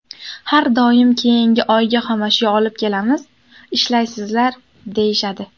Har doim keyingi oyga xomashyo olib kelamiz, ishlaysizlar, deyishadi.